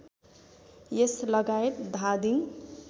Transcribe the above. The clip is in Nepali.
यस लगायत धादिङ